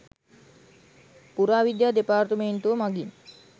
පුරාවිද්‍යා දෙපාර්තමේන්තුව මඟින්